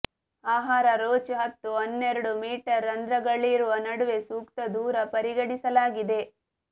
ಆಹಾರ ರೋಚ್ ಹತ್ತು ಹನ್ನೆರಡು ಮೀಟರ್ ರಂಧ್ರಗಳಿರುವ ನಡುವೆ ಸೂಕ್ತ ದೂರ ಪರಿಗಣಿಸಲಾಗಿದೆ